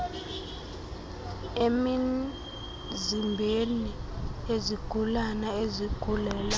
emizimbeni yezigulane ezigulela